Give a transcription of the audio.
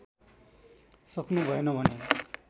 सक्नु भएन भने